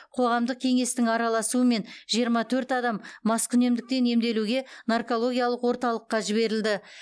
қоғамдық кеңестің араласуымен жиырма төрт адам маскүнемдіктен емделуге наркологиялық орталыққа жіберілді